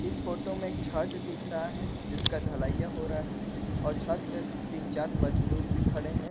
इस फोटो में एक शेड दिख रहा है जिसका ढलैया हो रहा है और छत पे तीन चार मजदूर भी खड़े हैं।